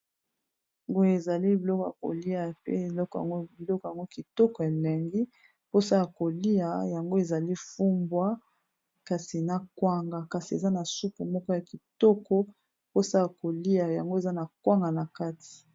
Boye ezali biloko ya kolia pe eloko yango biloko yango kitoko elengi mposa ya kolia yango ezali fumbwa kasi na kwanga kasi eza na supu moko ya kitoko mposa ya kolia yango eza na kwanga na kati.